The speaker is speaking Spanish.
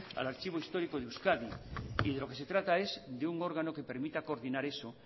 al archivo histórico de euskadi y de lo que se trata es de un órgano que permita coordinar eso